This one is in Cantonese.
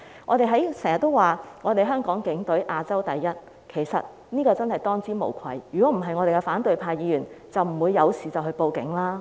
我們經常說香港警隊是亞洲第一，他們真的是當之無愧，否則反對派議員就不會遇事便報案了。